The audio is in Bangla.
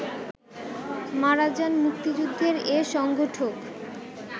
মারা যান মুক্তিযুদ্ধের এ সংগঠক